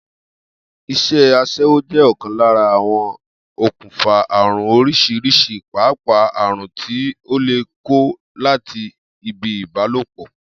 Is̩é̩ as̩é̩wó jé̩ ò̩kan lára awon okùnfà àrùn orís̩irís̩i pàápàá àrùn tí a lè kó láti ibi ìbálòpò̩